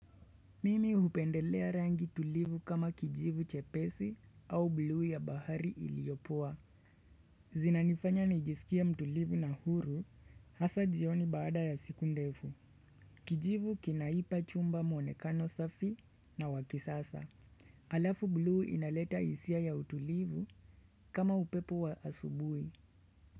Mimi hupendelea rangi tulivu kama kijivu chepesi au bulu ya bahari iliyopoa. Zinanifanya nijisikia mtulivu na huru hasa jioni baada ya siku ndefu. Kijivu kinaipa chumba mwonekano safi na wakisasa. Alafu bulu inaleta hisia ya utulivu kama upepo wa asubuhi.